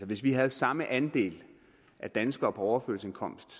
hvis vi havde samme andel af danskere på overførselsindkomst